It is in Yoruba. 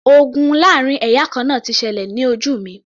Ogun láàrin ẹ̀yà kan náà ti ṣẹlẹ̀ ní ojú mi